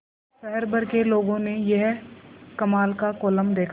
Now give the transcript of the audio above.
शहर भर के लोगों ने यह कमाल का कोलम देखा